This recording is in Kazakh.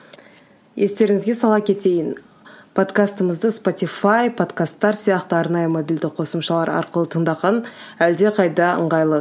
естеріңізге сала кетейін подкастымызды спотифай подкастар сияқты арнайы мобильді қосымшалар арқылы тыңдаған әлдеқайда ыңғайлы